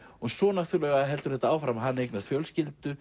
svo heldur þetta áfram hann eignast fjölskyldu